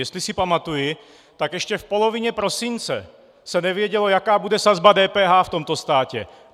Jestli si pamatuji, tak ještě v polovině prosince se nevědělo, jaká bude sazba DPH v tomto státě.